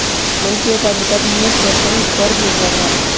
मन की एकाग्रता धीमे श्वसन पर निर्भर है